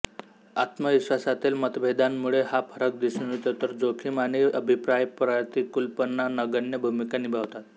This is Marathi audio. आत्मविश्वासातील मतभेदांमुळे हा फरक दिसून येतो तर जोखीम आणि अभिप्रायप्रतिकूलपणा नगण्य भूमिका निभावतात